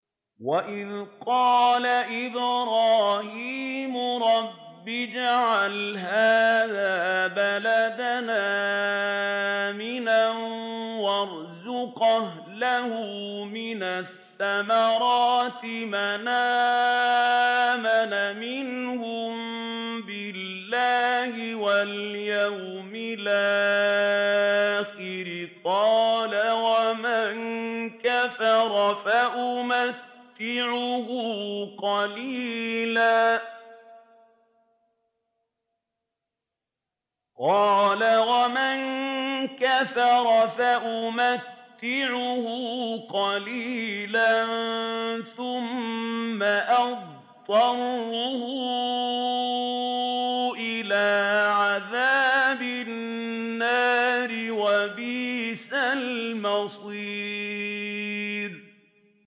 وَإِذْ قَالَ إِبْرَاهِيمُ رَبِّ اجْعَلْ هَٰذَا بَلَدًا آمِنًا وَارْزُقْ أَهْلَهُ مِنَ الثَّمَرَاتِ مَنْ آمَنَ مِنْهُم بِاللَّهِ وَالْيَوْمِ الْآخِرِ ۖ قَالَ وَمَن كَفَرَ فَأُمَتِّعُهُ قَلِيلًا ثُمَّ أَضْطَرُّهُ إِلَىٰ عَذَابِ النَّارِ ۖ وَبِئْسَ الْمَصِيرُ